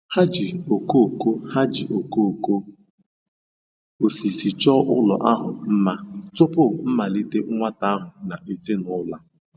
Ha ji okooko Ha ji okooko osisi chọọ ụlọ ahụ mma tupu mmalite nwata ahụ na ezinụlọ.